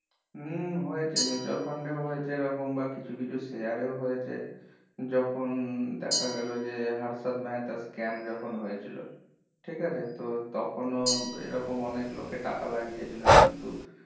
হুম হয়েছে হয়েছে ঝাড়খন্ডে হয়েছে এই বা কিছু কিছু mutual fund এ ও হয়েছে যখন দেখা গেলো যে হার্ষাব মেহেতা share যখন হয়েছিল ঠিক আছে তো তখনো এই রকম অনেক লোকে টাকা লাগিয়েছিল কিন্তু